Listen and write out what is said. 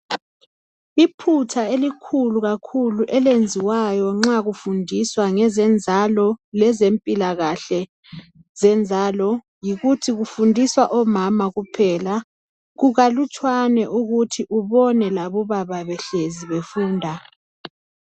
Iphutha elikhulu kakhulu elenziwayo nxa kufundiswa ngezenzalo lezempilakahle zenzalo yikuthi kufundiswa omama kuphela. Kukalutshwane ukuthi ubone labobaba behlezi befunda.